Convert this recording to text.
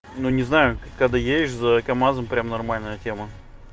ну не знаю когда едешь за камазом прямо нормальная тема